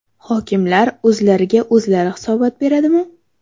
Hokimlar o‘zlariga o‘zlari hisobot beradimi?